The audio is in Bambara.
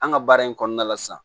An ka baara in kɔnɔna la sisan